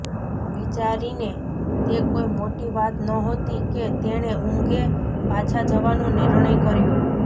વિચારીને તે કોઈ મોટી વાત નહોતી કે તેણે ઊંઘે પાછા જવાનો નિર્ણય કર્યો